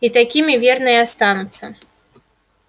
и такими верно и останутся